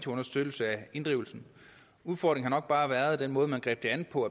understøttelse af inddrivelsen udfordringen har nok bare været den måde man greb det an på